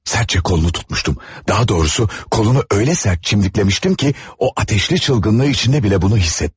Sərtcə qolunu tutmuşdum, daha doğrusu qolunu elə sərt çimdikləmişdim ki, o atəşli çılğınlığı içində belə bunu hiss etdi.